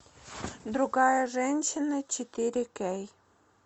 другая женщина четыре кей